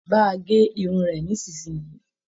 Bà a ge irun rẹ nisinyii!